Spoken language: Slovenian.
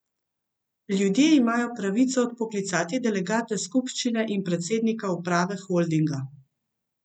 Ljudje imajo pravico odpoklicati delegate skupščine in predsednika uprave holdinga.